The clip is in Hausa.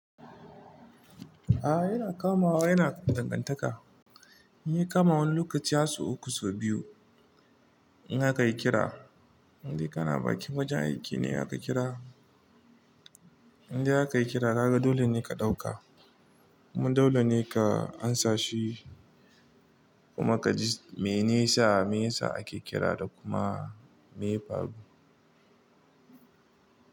A'a yana kamawa yana dangantaka. Yana kama wani lokaci ya sau uku sau biyu in akai kira. Inde kana bakin wajen aiki ne aka kira, inda aka kira daga dole ne ka ɗauka kuma dole ne ka amsa shi kuma ka ji mene sa mesa ake kira da kuma me ya faru.